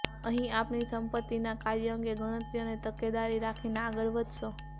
અહીં આપની સંપત્તિના કાર્ય અંગે ગણતરી અને તકેદારી રાખીને આગળ વધશો